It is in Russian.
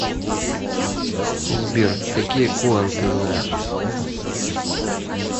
сбер какие коан ты знаешь